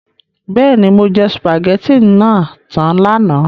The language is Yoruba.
Bẹ́ẹ̀ni, mo jẹ sùpàgẹ́tì náà tan lánàá.